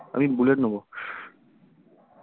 আমি বুলেট নেব